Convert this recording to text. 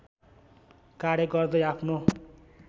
कार्य गर्दै आफ्नो